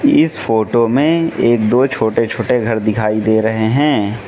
इस फोटो में एक दो छोटे छोटे घर दिखाई दे रहे हैं।